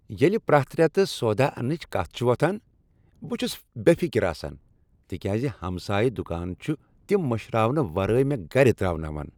ییٚلہ پرٛیتھ ریتہٕ سوداہ انٛنٕچ کتھ چھ وۄتھان، بہٕ چھس بےٚ فکر آسان تکیاز ہمسایہٕ دکان چھ تم مٔشراونہٕ ورٲے مےٚ گرِ ترٛاوناوان۔